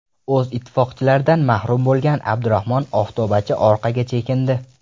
O‘z ittifoqchilaridan mahrum bo‘lgan Abdurahmon Oftobachi orqaga chekindi.